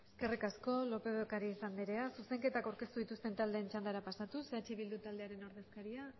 eskerrik asko lópez de ocariz anderea zuzenketak aurkeztu dituzten taldeen txandara pasatuz eh bildu taldearen ordezkaria